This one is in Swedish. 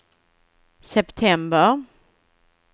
september